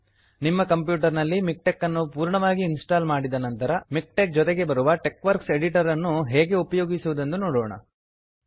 ನಿಮ್ಮ ಕಂಪ್ಯೂಟರ್ ನಲ್ಲಿ ಮಿಕ್ಟೆಕ್ ಅನ್ನು ಪೂರ್ಣವಾಗಿ ಇನ್ಸ್ಟಾಲ್ ಮಾಡಿದ ನಂತರ ಮಿಕ್ಟೆಕ್ ಜೊತೆಗೆ ಬರುವ ಟೆಕ್ವರ್ಕ್ಸ್ ಎಡಿಟರ್ ಅನ್ನು ಹೇಗೆ ಉಪಯೋಗಿಸುವುದು ಎಂದು ನೋಡೋಣ